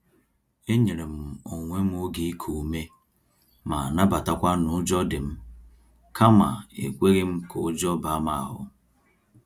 E nyerem onwe m oge iku ume ma nabatakwa n'ụjọ dịm, kama ekweghịm ka ụjọ baa m ahụ